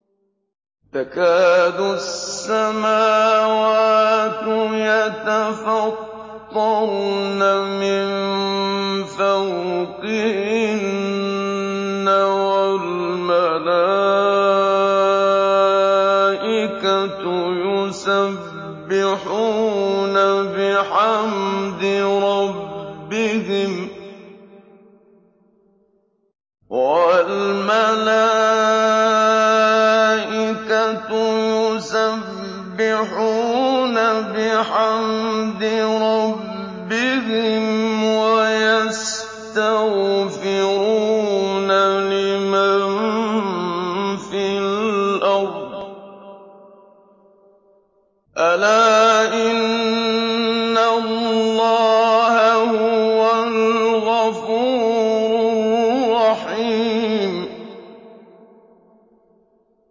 تَكَادُ السَّمَاوَاتُ يَتَفَطَّرْنَ مِن فَوْقِهِنَّ ۚ وَالْمَلَائِكَةُ يُسَبِّحُونَ بِحَمْدِ رَبِّهِمْ وَيَسْتَغْفِرُونَ لِمَن فِي الْأَرْضِ ۗ أَلَا إِنَّ اللَّهَ هُوَ الْغَفُورُ الرَّحِيمُ